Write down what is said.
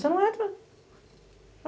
Você não entra.